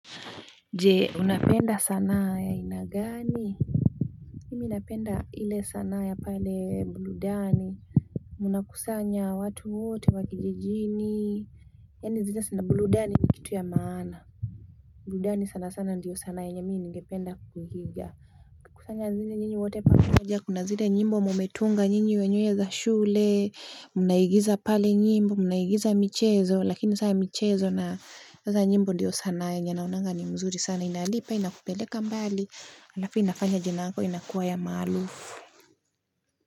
Je unapenda sanaa ya aina gani mimi inapenda ile sanaa ya pale burudani. Mnakusanya watu wote wa kijijini yaani zile sanaa burudani ni kitu ya maana burudani sana sana ndiyo sanaa yenye mimi ningependa kuiiga kukusanya zile nyinyi wote pamoja kuna zile nyimbo mumetunga nyinyi wenyewe za shule, mnaigiza pale nyimbo, mnaigiza michezo lakini saa michezo na sasa nyimbo ndiyo sanaa yenye naonanga ni mzuri sana inalipa inakupeleka mbali halafu inafanya jina yako inakuwa ya maarufu.